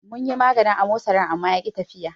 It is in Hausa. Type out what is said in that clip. Munyi maganin amosarin amma yaki tafiya.